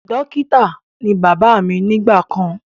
Dókítà ní bàbá mí nígbà kàn